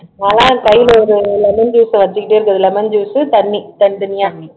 அதான் கையில ஒரு lemon juice அ வச்சுக்கிட்டே இருக்கது lemon juice தண்ணி தனி தனியா